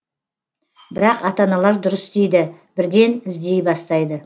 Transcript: бірақ ата аналар дұрыс істейді бірден іздей бастайды